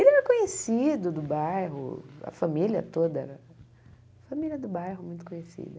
Ele era conhecido do bairro, a família toda, a família do bairro muito conhecida.